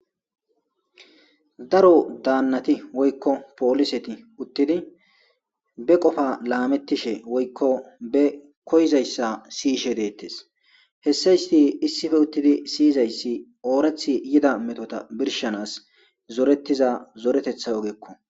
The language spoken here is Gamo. daro daannati woykko pooliseti uttidi be qofa laamettishe woykko be koyzayssa siyishe deettes hessa isti issife uttidi siyizayssi oorethi yida metota birshanas zoretiza zoretetha ogeekko.